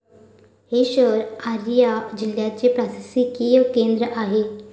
हे शहर अरारिया जिल्याचे प्रशासकीय केंद्र आहे.